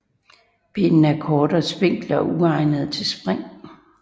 Benene er korte og spinkle og uegnede til spring